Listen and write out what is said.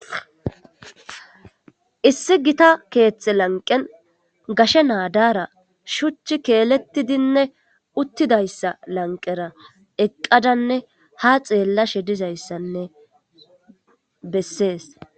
Issi gita keeththe lanqen gashe naadara shuchchi keelettidinne uttidayssa lanqera eqqadanne ha xeellashe dizayssanne bessees.